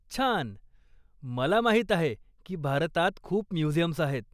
छान, मला माहीत आहे की भारतात खूप म्युझियम्स आहेत.